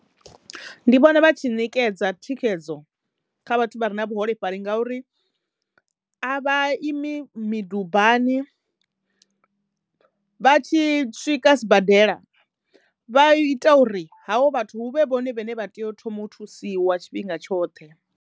Ndi vhona vha tshi ṋekedza thikhedzo kha vhathu vha re na vhuholefhali ngauri a vha imi midubani, vha tshi swika sibadela vha i ita uri havho vhathu huvhe vhone vhane vha teyo u thoma u thusiwa tshifhinga tshoṱhe.